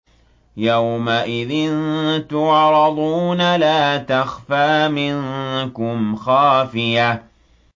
يَوْمَئِذٍ تُعْرَضُونَ لَا تَخْفَىٰ مِنكُمْ خَافِيَةٌ